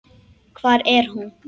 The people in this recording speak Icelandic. Hvar er hún?